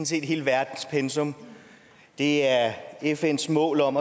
set hele verdens pensum det er fns mål om